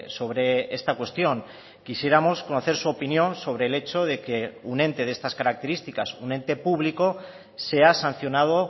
sobre esta cuestión quisiéramos conocer su opinión sobre el hecho de que un ente de estas características un ente público sea sancionado